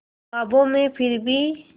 ख्वाबों में फिर भी